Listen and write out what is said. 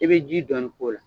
I be ji dɔɔni k'o la.